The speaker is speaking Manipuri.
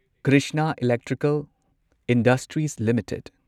Krishna electrical industries limited